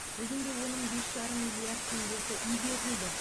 бүгінде оның бес жарым миллиард теңгесі игерілді